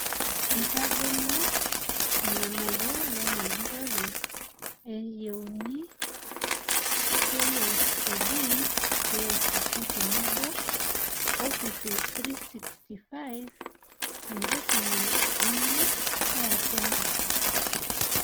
Eitagolo irng'anayio lena jurrore e yiuna KICD peasisho tebo Office365 tenkisuma enye eatua nkishu.